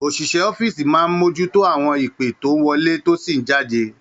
Oṣiṣẹ Ọ̀fiísí máa n mojuto àwọn ìpe tó n wọlé tó sì ni jáde.